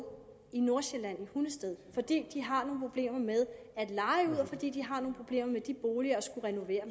i nordsjælland i hundested fordi de har nogle problemer med at leje ud og fordi de har nogle problemer med de boliger og skal renovere